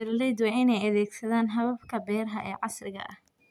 Beeraleydu waa inay adeegsadaan hababka beeraha ee casriga ah.